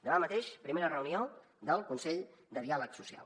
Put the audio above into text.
demà mateix primera reunió del consell de diàleg social